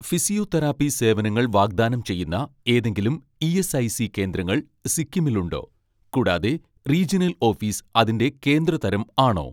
physiotherapy സേവനങ്ങൾ വാഗ്ദാനം ചെയ്യുന്ന ഏതെങ്കിലും ഇ.എസ്.ഐ.സി കേന്ദ്രങ്ങൾ സിക്കിമിൽ ഉണ്ടോ, കൂടാതെ റീജിയണൽ ഓഫീസ് അതിൻ്റെ കേന്ദ്ര തരം ആണോ